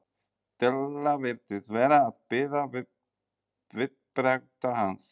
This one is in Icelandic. Stella virtist vera að bíða viðbragða hans.